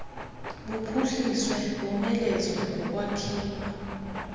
buphuhliswe bomelezwe ngokwakhiwa